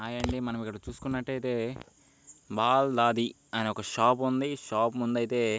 Hi అండి .ఇక్కడ మనం చూసుకున్నట్లయితే వాలది అనే ఒక షాప్ ఉంది. ఈ షాప్ ముందు అయితే--